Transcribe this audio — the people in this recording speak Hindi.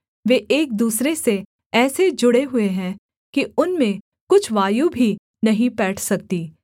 वे एक दूसरे से ऐसे जुड़े हुए हैं कि उनमें कुछ वायु भी नहीं पैठ सकती